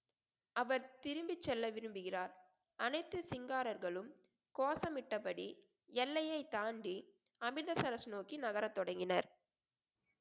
அவர் திரும்பிச் செல்ல விரும்புகிறார் அனைத்து சிங்காரர்களும் கோஷமிட்டபடி எல்லையைத் தாண்டி அமிர்தசரஸ் நோக்கி நகரத் தொடங்கினர்